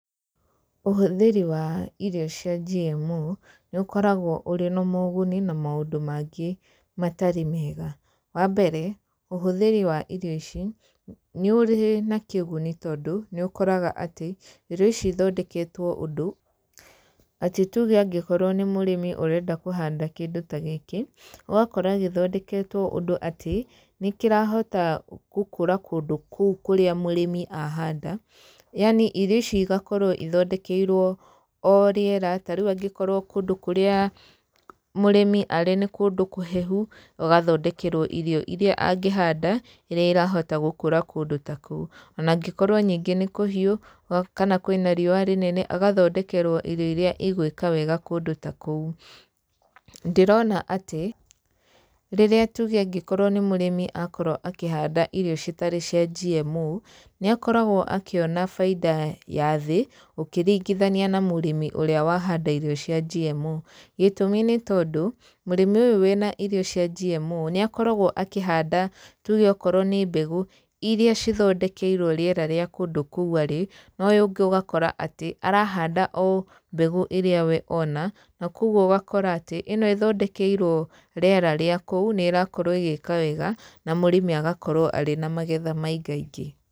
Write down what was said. Ũhũthĩri wa irio cia GMO, nĩ ũkoragwo ũrĩ na moguni na maũndũ mangĩ matarĩ mega. Wambere, ũhũthĩri wa irio ici, nĩ ũrĩ na kĩguni tondũ, nĩ ũkoraga atĩ, irio ici ithondeketwo ũndũ atĩ tuge okorwo nĩ mũrĩmi ũrenda kũhanda kĩndũ ta gĩkĩ, ũgakora gĩthondeketwo ũndũ atĩ, nĩ kĩrahota gũkũra kũndũ kũu kũrĩa mũrĩmi ahanda, yani irio ici igakorwo ithondekeirwo o rĩera, ta rĩu angĩkorwo kũndũ kũrĩa mũrĩmi arĩ nĩ kũndũ kũhehu, agathondekerwo irio iria angĩhanda, iria irahota gũkũra kũndũ ta kũu, onangĩkorwo ningĩ nĩ kũhiũ kana kwĩna riũa rĩnene, agathondekerwo irio iria igwĩka wega kũndũ ta kũu. Ndĩrona atĩ, rĩrĩa tuge angĩkorwo nĩ mũrĩmi akorwo akĩhanda irio citarĩ cia GMO, nĩ akoragwo akĩona bainda wa thĩ, ũkĩringithania na mũrĩmi ũrĩa wa handa irio cia GMO, gĩtũmi nĩ tondũ, mũrĩmi ũyũ wĩna irio cia GMO, nĩ akoragwo akĩhanda tuge okorwo nĩ mbegũ, iria cithondekeirwo rĩera rĩa kũndũ kũu arĩ, na ũyũ ũngĩ ũgakora atĩ arahanda o mbegũ ĩrĩa we ona, na koguo ũgakora atĩ, ĩno ĩthondekeirwo rĩera rĩa kũu nĩ ĩrakorwo ĩgĩka wega, na mũrĩmi agakorwo arĩ na magetha maingaingĩ.